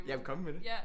Jamen kom med det